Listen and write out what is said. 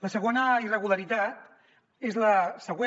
la segona irregularitat és la següent